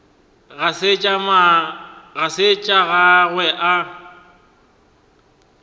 ga se tša gagwe a